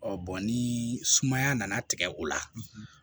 ni sumaya nana tigɛ o la